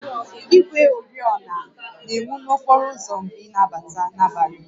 Igwe oriọna na-enwu n'okporo ụzọ mgbe ị na-agba n'abalị